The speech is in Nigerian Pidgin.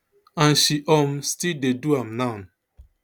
and she um still dey do am now